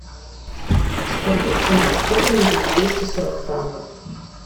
сколько в фунтах стерлингов двести сорок франков